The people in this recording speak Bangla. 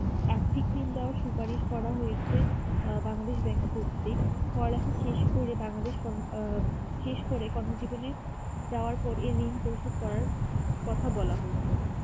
আর্থিক ঋণ দেওয়া সুপারিশ করা হয়েছে আ বাংলাদেশ কর্তৃক পড়ালেখা শেষ করে বাংলাদেশ আ শেষ করে কর্মজীবনে যাওয়ার পর এ ঋণ পরিশোধ করার কথা বলা হয়েছে